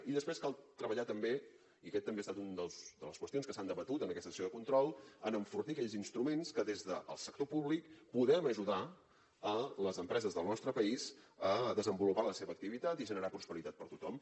i després cal treballar també i aquesta també ha estat una de les qüestions que s’han debatut en aquesta sessió de control en enfortir aquells instruments que des del sector públic poden ajudar a les empreses del nostre país a desenvolupar la seva activitat i generar prosperitat per tothom